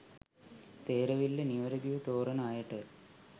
තේරවිල්ල නිවැරදිව තෝරන අයට